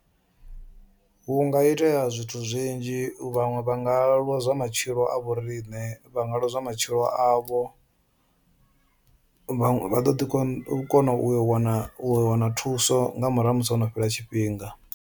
Hu nga itea zwithu zwinzhi vhanwe vha nga lwozwa matshilo a vho riṋe vhanga lozwa matshilo avho, vhanwe vha ḓo kona u wana u wana thuso nga murahu musi hono fhela tshifhinga.